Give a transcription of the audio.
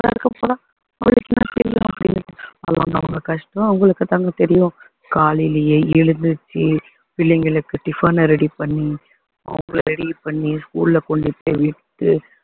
அதுக்கப்புறம் அவங்க அவங்க கஷ்டம் அவங்களுக்கு தாங்க தெரியும் காலையிலேயே எழுந்திருச்சு பிள்ளைங்களுக்கு tiffin அ ready பண்ணி அவங்களை ready பண்ணி school ல கொண்டு போய் விட்டு